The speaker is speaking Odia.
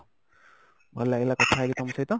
ଭଲ ଲାଗିଲା କଥା ହେଇକି ତମ ସହିତ